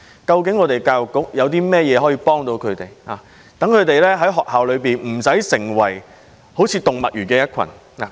究竟教育局可以如何幫助他們，讓他們不會在校內變成好像動物園的一群？